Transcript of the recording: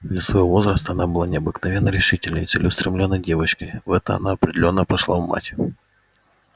для своего возраста она была необыкновенно решительной и целеустремлённой девочкой в это она определённо пошла в мать